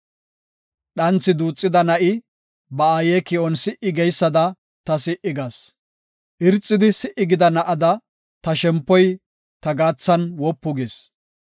Dhanthi duuxida na7i ba aaye ki7on si77i geysada ta si77i gas. Wayetho agida na7ada, ta shempoy ta gaathan wopu gis.